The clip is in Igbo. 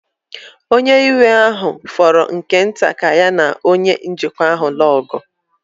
Nwoke iwe ahụ fọrọ nke nta ka ya na onye njikwa ahụ ọgụ.